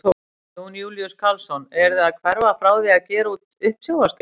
Jón Júlíus Karlsson: Eruð þið að hverfa frá því að gera út uppsjávarskip?